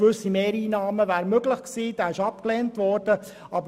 Gewisse Mehreinnahmen wären möglich gewesen, aber dieser Antrag wurde abgelehnt.